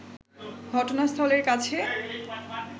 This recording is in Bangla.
ঘটনাস্থলের কাছে